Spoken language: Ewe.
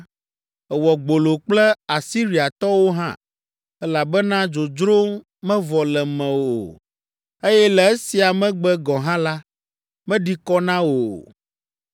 Èwɔ gbolo kple Asiriatɔwo hã, elabena dzodzro mevɔ le mewò o, eye le esia megbe gɔ̃ hã la, meɖi kɔ na wò o.